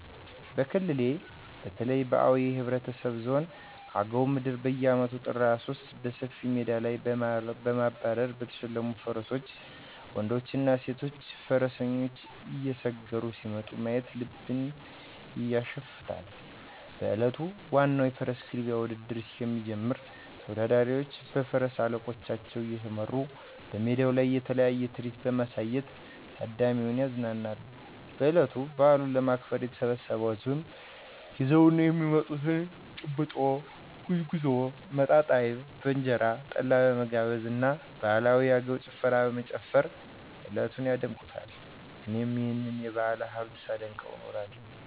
በክልሌ በተለይ በአዊ ብሄረሰብ ዞን አገው ምድር በየአመቱ ጥር 23 በሰፊ ሜዳ ላይ ባማሩና በተሸለሙ ፈረሶች ወንድና ሴት ፈረሰኞች እየሰገሩ ሲመጡ ማየት ልብን ያሸፍታል። በእለቱ ዋናው የፈረስ ግልቢያ ውድድር እስኪጀምር ተወዳዳሪዎቹ በፈረስ አለቆቻቸው እየተመሩ በሜዳው ላይ የተለያየ ትርኢት በማሳየት ታዳሚውን ያዝናናሉ። በእለቱ በአሉን ለማክበር የተሰበሰው ህዝብም ይዘው የሚመጡትን :- ጭብጦ፣ ጉዝጉዞ፣ መጣጣ አይብ በእንጀራ፣ ጠላ በመገባበዝ እና ባህላዊ የአገውኛ ጭፈራ በመጨፈር እለቱን ያደምቁታል። እኔም ይህንን የባህል ሀብት ሳደንቀው እኖራለሁ።